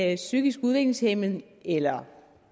er psykisk udviklingshæmmede eller har